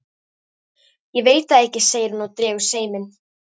Ég veit það ekki, segir hún og dregur seiminn.